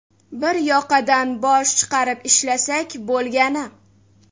Bir yoqadan bosh chiqarib ishlasak bo‘lgani.